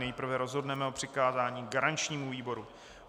Nejprve rozhodneme o přikázání garančnímu výboru.